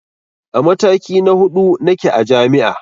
A mataki na huɗu nake a jami'a